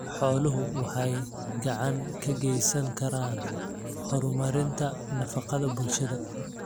Xooluhu waxay gacan ka geysan karaan horumarinta nafaqada bulshada.